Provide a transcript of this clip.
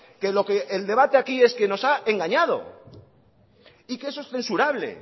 que lo que el debate aquí es que nos ha engañado y que eso es censurable